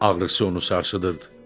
Ağrısı onu sarsıdırdı.